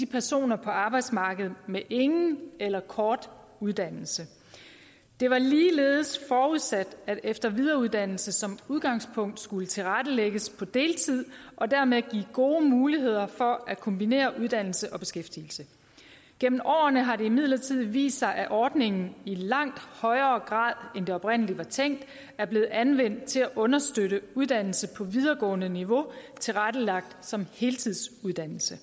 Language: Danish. personer på arbejdsmarkedet med ingen eller kort uddannelse det var ligeledes forudsat at efter og videreuddannelse som udgangspunkt skulle tilrettelægges på deltid og dermed give gode muligheder for at kombinere uddannelse og beskæftigelse gennem årene har det imidlertid vist sig at ordningen i langt højere grad end det oprindelig var tænkt er blevet anvendt til at understøtte uddannelse på videregående niveau tilrettelagt som heltidsuddannelse